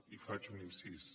i faig un incís